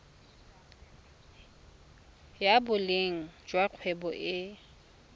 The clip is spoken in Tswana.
ya boleng jwa kgwebo e